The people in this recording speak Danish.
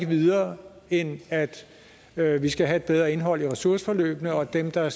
videre end at at vi skal have et bedre indhold i ressourceforløbene og at dem der